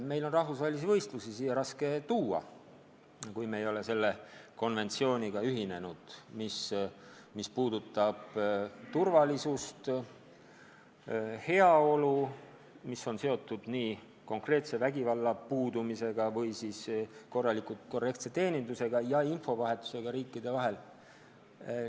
Meil on rahvusvahelisi võistlusi siia raske tuua, kui me ei ole selle konventsiooniga ühinenud, kuna see käsitleb turvalisust ja heaolu, mis on seotud nii konkreetse vägivalla puudumisega kui ka korrektse teenindusega ja infovahetusega riikide vahel.